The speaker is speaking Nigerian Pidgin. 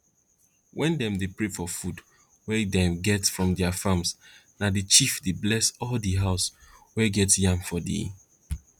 wen dem dey pray for food wey dem get from their farm na the chief dey bless all di house wey get yam for di